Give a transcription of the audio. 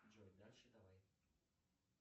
джой дальше давай